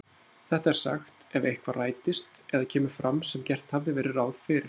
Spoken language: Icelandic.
Þetta er sagt ef eitthvað rætist eða kemur fram sem gert hafði verið ráð fyrir.